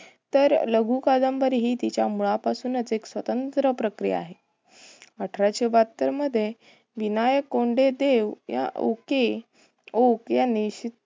तर लघुकादंबरी हि तिचा मुळा पासूनच एक स्वतंत्र प्रक्रिया आहे. अठराशे बहात्तर मध्ये विनायक कोंडेदेव या ओके ओक यांनी